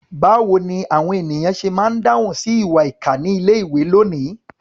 Báwo ni àwọn ènìyàn ṣe máa ń dáhùn sí ìwà ìkà ní ilé-ìwé lónìí?